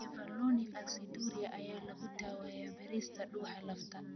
Mevalonic aciduria ayaa lagu daaweeyay beerista dhuuxa lafta.